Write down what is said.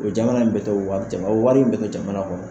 O jamana in bɛ t'o owari o wari in bɛ te don jamana kɔnɔ